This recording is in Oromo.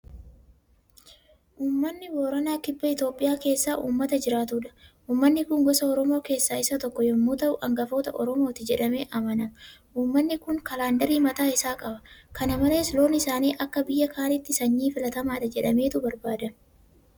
Uummanni booranaa kibba Itoophiyaa keessa uummata jiraatudha. Uummanni kun gosa Oromoo keessaa isa tokko yemmuu ta'u; Angafa Oromooti jedhamee amanama. Uummanni kun kaalandarii mataa isaa qaba. Kana malees Loon isaanii akka biyya kanaatti sanyii filatamaadha jedhameetu barbaadama.